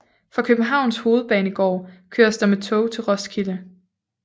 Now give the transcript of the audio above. Fra Københavns Hovedbanegård køres der med tog til Roskilde